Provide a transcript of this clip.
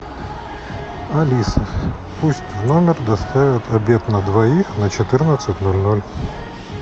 алиса пусть в номер доставят обед на двоих на четырнадцать ноль ноль